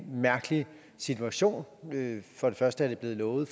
mærkelig situation for det første er det blevet lovet